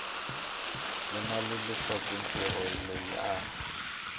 vula leswaku mutirhi loyi a